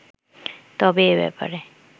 তবে এ ব্যাপারে